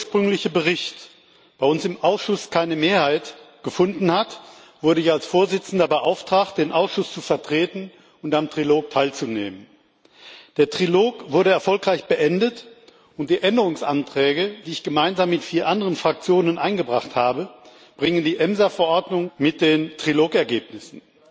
Nachdem der ursprüngliche Bericht bei uns im Ausschuss keine Mehrheit gefunden hat, wurde ich als Vorsitzender beauftragt, den Ausschuss zu vertreten und am Trilog teilzunehmen. Der Trilog wurde erfolgreich beendet, und die Änderungsanträge, die ich gemeinsam mit vier anderen Fraktionen eingebracht habe, bringen die EMSA Verordnung in Einklang mit den Trilogergebnissen.